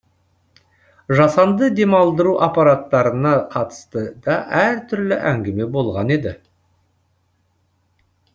жасанды демалдыру аппараттарына қатысты да әртүрлі әңгіме болған еді